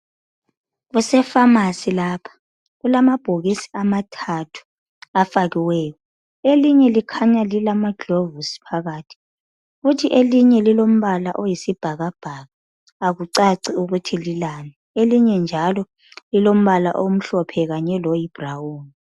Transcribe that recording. Kusefamasi lapha ,kulamabhokisi amathathu afakiweyo .Elinye likhanya lilama gilovisi phakathi .Kuthi elinye lilombala oyisibhakabhaka akucaci ukuthi lilani ,elinye njalo lilombala omhlophe kanye loyi brown.